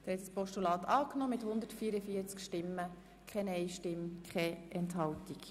Der Grosse Rat hat einstimmig Annahme des Postulats beschlossen.